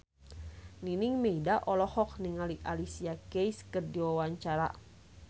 Nining Meida olohok ningali Alicia Keys keur diwawancara